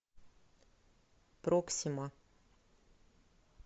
проксима